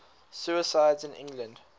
suicides in england